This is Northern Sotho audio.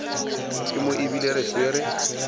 ke mo ebile re swere